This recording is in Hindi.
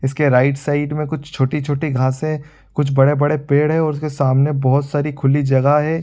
इसके राइट साइड में कुछ छोटी-छोटी घासे कुछ बड़े-बड़े पेड़ हैं और उसके सामने बहुत सारी खुली जगह है।